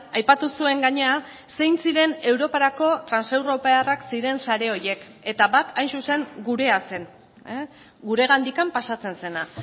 aipatu zuen gainera zein ziren europarako transeuropearrak ziren sare horiek eta bat hain zuzen gurea zen guregandikan pasatzen zena